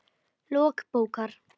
Lok bókar